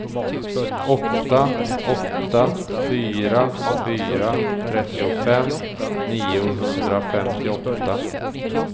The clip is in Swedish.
åtta åtta fyra fyra trettiofem niohundrafemtioåtta